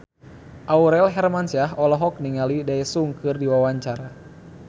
Aurel Hermansyah olohok ningali Daesung keur diwawancara